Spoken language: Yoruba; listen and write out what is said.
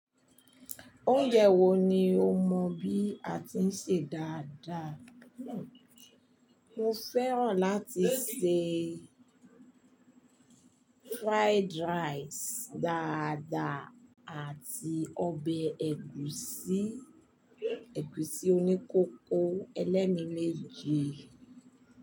Oúnjẹ wo ni o mọ bí a ti ń sè dáadáa? Mo fẹ́ràn láti sè fried rice dáadáa àti ọbẹ̀ ẹ̀gúsí oníkókó. Ẹ lẹ́ mi méje.